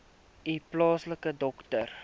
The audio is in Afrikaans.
u plaaslike dokter